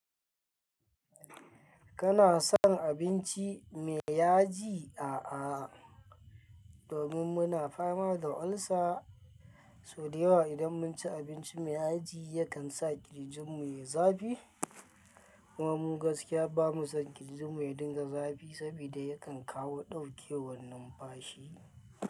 Kana son abinci mai yaji? A'a domin muna fama da ulcer, sau da yawa idan mun ci abinci mai aji yakan sa kirjin mu yayi zafi kuma mu gaskiya bamu son kirjin mu ya dinga zafi saboda yakan kawo ɗaukewar numfashi.